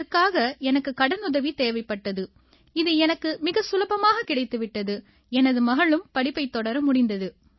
இதற்காக எனக்குக் கடனுதவி தேவைப்பட்டது இது எனக்கு மிகச் சுலபமாகக் கிடைத்து விட்டது எனது மகளும் படிப்பைத் தொடர முடிந்தது